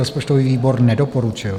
Rozpočtový výbor nedoporučil.